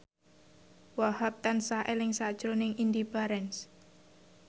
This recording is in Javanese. Wahhab tansah eling sakjroning Indy Barens